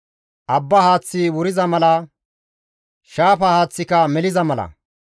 Abba haaththi wuriza mala, shaafa haaththika meliza mala,